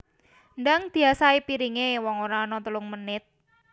Ndang diasahi piringe wong ora ono telung menit